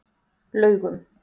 Laugum